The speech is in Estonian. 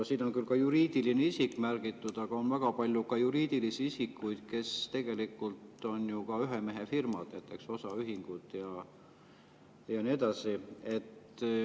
Siin on küll ka juriidiline isik märgitud, aga on väga palju juriidilisi isikuid, kes tegelikult on ju ühemehefirmad, osaühingud ja nii edasi.